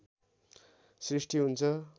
सृष्टि हुन्छ